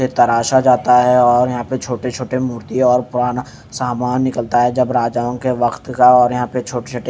ये तराशा जाता है और यहा पे छोटे छोटे मूर्ति और पुराना सामान निकलता है जब राजाओ के वक्त का और यहा पे छोटे छोटे--